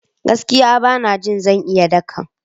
Gaskiya! Bana jin zan iya dakan.